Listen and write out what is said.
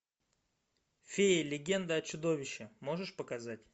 феи легенда о чудовище можешь показать